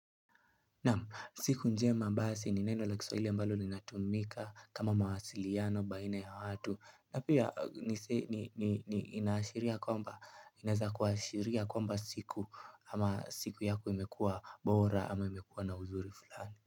Naam siku njema basi ni neno la kiswahili ambalo linatumika kama mawasiliano baina ya watu na pia nise ni inaashiria ya kwamba inaeza kuashiria kwamba siku ama siku yako imekuwa bora ama imekua na uzuri fulani.